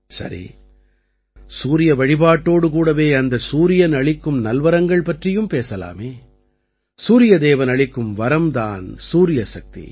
சரி சூரிய வழிபாட்டோடு கூடவே அந்தச் சூரியன் அளிக்கும் நல்வரங்கள் பற்றியும் பேசலாமே சூரிய தேவன் அளிக்கும் வரம் தான் சூரியசக்தி